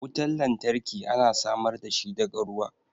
Wutan lantarki ana samar da shi daga ruwa.